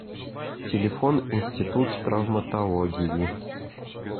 телефон институт травматологии